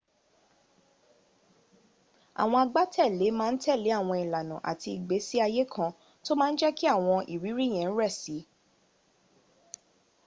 àwọn agbátẹ̀lé ma n tẹ́lẹ̀ àwọn ìlànà àti ìgbésí ayé kan tó ma n jẹ́kí àwọn ìrírí yẹn rẹ̀ si